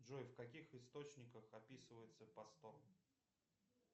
джой в каких источниках описывается посто